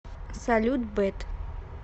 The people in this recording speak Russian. салют бет